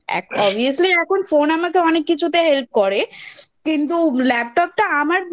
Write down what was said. Obviously এখন Phone আমাকে Help করে কিন্তু Laptop টা আমার